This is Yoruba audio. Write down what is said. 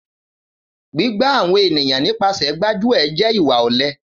Gbígbà àwọn ènìyàn nípasẹ̀ gbáájuẹ̀ jẹ ìwá ọlẹ